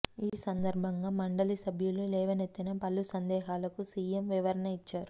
ఈ సందర్భంగా మండలి సభ్యులు లేవనెత్తిన పలు సందేహాలకు సీఎం వివరణ ఇచ్చారు